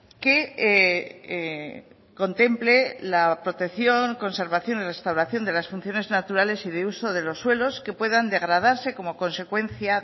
que contemple la protección conservación y restauración de las funciones naturales y de uso de los suelos que puedan degradarse como consecuencia